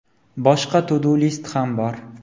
Boshqa to-do list ham bor.